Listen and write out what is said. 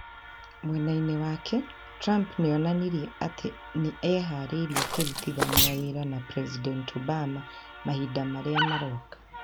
Mwena-inĩ wake, Trump nĩ onanirie atĩ nĩ eharĩirie kũrutithania wĩra na President Obama mahinda marĩa maroka.